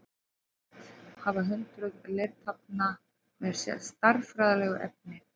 Varðveist hafa hundruð leirtaflna með stærðfræðilegu efni.